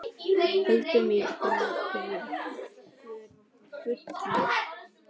Holdið er gult.